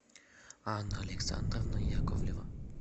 анна александровна яковлева